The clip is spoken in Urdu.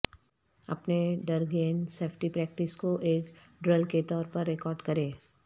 اپنے ڈر گیند سیفٹی پریکٹس کو ایک ڈرل کے طور پر ریکارڈ کریں